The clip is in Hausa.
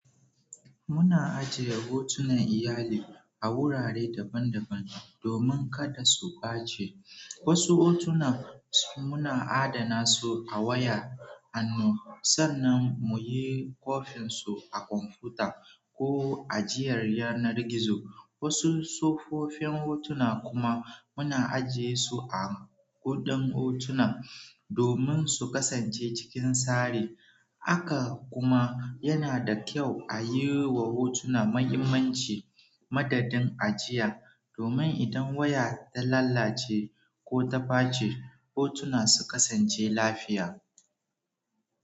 Muna ajiye hotunan iyali a wurare daban-daban domin kada su ɓace. Wasu hotuna muna adana su a waya, hannu sannan mu yi kwafin su a kwamfuta ko ajiyar yanar gizo. Wasu tsofoffin hotuna kuma muna ajiye su a guɗan hotuna domin su kasance cikin tsari. Haka kuma yana da kyau a yi wa hotuna mahimmanci madadin ajiya, domin idan waya ta lalace ko ta ɓace, hotuna su kasance lafiya.